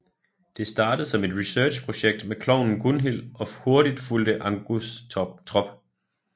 Det startede som et researchprojekt med klovnen Gunhil og hurtigt fulgte Angus trop